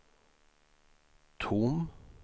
tom